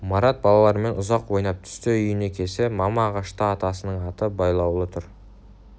марат балалармен ұзақ ойнап түсте үйіне келсе мама ағашта атасының аты байлаулы тұр